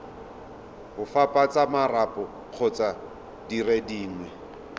opafatsa marapo kgotsa dire dingwe